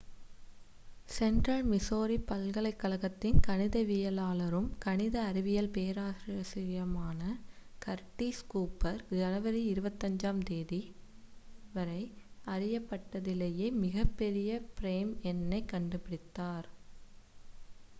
central Missouri பல்கலைக்கழகத்தின் கணிதவியலாளரும் கணித அறிவியல் பேராசிரியருமான கர்டிஸ் கூப்பர் ஜனவரி 25-ஆம் தேதிவரை அறியப்பட்டதிலேயே மிகப்பெரிய ப்ரைம் எண்ணைக் கண்டுபிடித்தார்